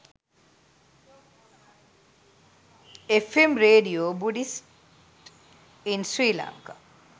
fm radio buddhist in sri lanka